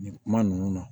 Nin kuma ninnu na